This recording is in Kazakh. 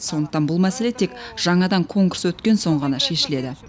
сондықтан бұл мәселе тек жаңадан конкурс өткен соң ғана шешіледі